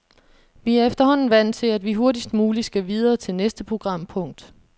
Vi er efterhånden vant til, at vi hurtigst muligt skal videre til næste programpunkt.